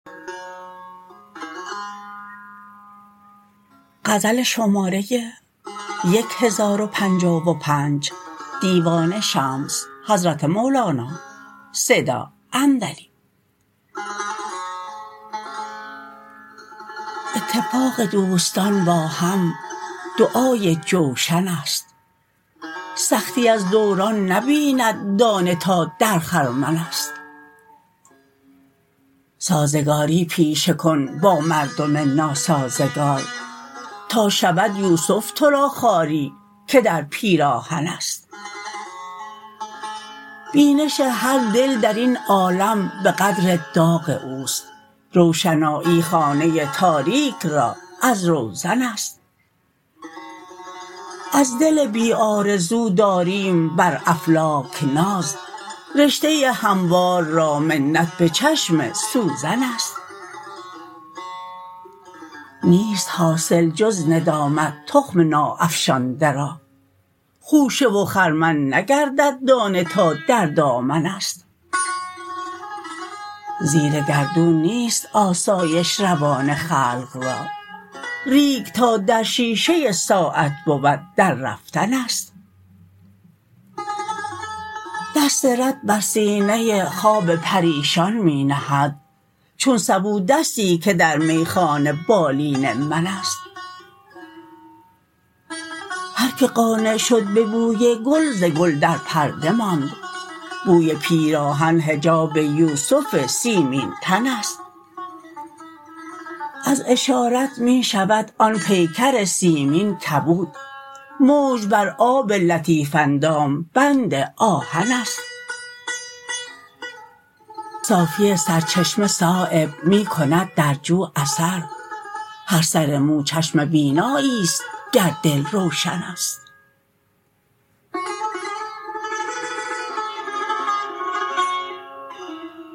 اتفاق دوستان با هم دعای جوشن است سختی از دوران نبیند دانه تا در خرمن است سازگاری پیشه کن با مردم ناسازگار تا شود یوسف ترا خاری که در پیراهن است بینش هر دل درین عالم به قدر داغ اوست روشنایی خانه تاریک را از روزن است از دل بی آرزو داریم بر افلاک ناز رشته هموار را منت به چشم سوزن است نیست حاصل جز ندامت تخم ناافشانده را خوشه و خرمن نگردد دانه تا در دامن است زیر گردون نیست آسایش روان خلق را ریگ تا در شیشه ساعت بود در رفتن است دست رد بر سینه خواب پریشان می نهد چون سبو دستی که در میخانه بالین من است هر که قانع شد به بوی گل ز گل در پرده ماند بوی پیراهن حجاب یوسف سیمین تن است از اشارت می شود آن پیکر سیمین کبود موج بر آب لطیف اندام بند آهن است صافی سر چشمه صایب می کند در جو اثر هر سر مو چشم بینایی است گر دل روشن است